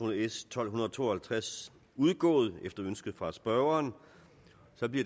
s tolv to og halvtreds udgået efter ønske fra spørgeren og det